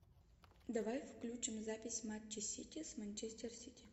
давай включим запись матча сити с манчестер сити